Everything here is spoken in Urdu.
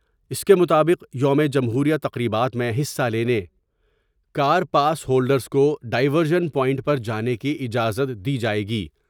اس کے مطابق یوم جمہوریہ تقریبات میں حصہ لینے کا ر پاس ہولڈرس کو ڈائیورشن پوائنٹ پر جانے کی اجازت دی جاۓ گی ۔